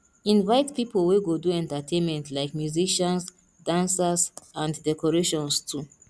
invite pipo wey go do entertainment like musicians dancers and do decorations too